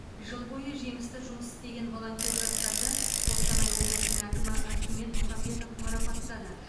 жыл бойы жемісті жұмыс істеген волонтер жастарды қостанай облысының әкімі архимед мұхамбетов марапаттады